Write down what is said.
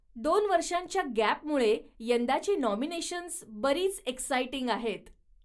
दोन वर्षांच्या गॅपमुळे यंदाची नाॅमिनेशन्स बरीच एक्सायटिंग आहेत.